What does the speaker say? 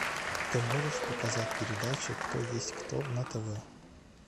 ты можешь показать передачу кто есть кто на тв